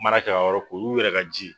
N kun mara ka o yɔrɔ olu yɛrɛ ka ji